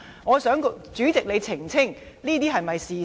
我想主席澄清，這是否事實？